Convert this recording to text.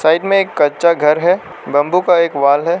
इनमें में एक कच्चा घर है बंबू का एक वाल है।